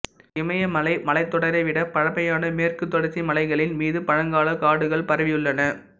இமயமலை மலைத்தொடரை விட பழமையான மேற்கு தொடர்ச்சி மலைகளின் மீது பழங்காலக் காடுகள் பரவியுள்ளன